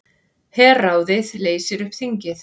Herráðið leysir upp þingið